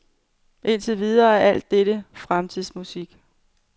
Indtil videre er alt dette fremtidsmusik.